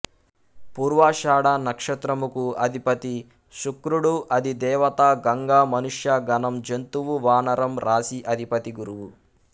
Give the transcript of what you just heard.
పూర్వాషాఢ నక్షత్రముకు అధిపతి శుక్రుడు అది దేవత గంగ మనుష్య గణం జంతువు వానరం రాశి అధిపతి గురువు